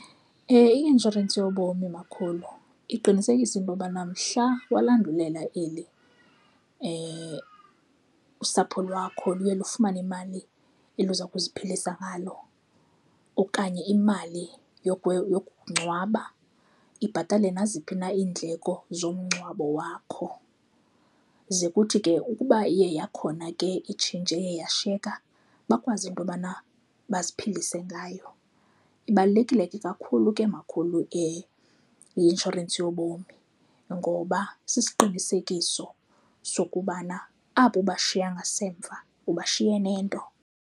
I-inshorensi yobomi makhulu iqinisekisa into yobana mhla walandulela eli usapho lwakho luye lufumane imali eliza kuziphilisa ngalo okanye imali yokungcwaba, ibhatale naziphi na iindleko zomngcwabo wakho. Ze kuthi ke ukuba iye yakhona ke itshintshi eye yashiyeka, bakwazi into yobana baziphilise ngayo. Ibalulekile ke kakhulu ke makhulu i-inshorensi yobomi ngoba siqinisekiso sokubana abo ubashiya ngasemva ubashiye nento.